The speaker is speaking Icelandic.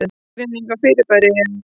Skilgreining á þessu fyrirbæri er: